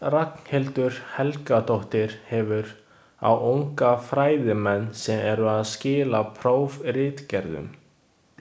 Ragnhildur Helgadóttir hefur, á unga fræðimenn sem eru að skila prófritgerðum.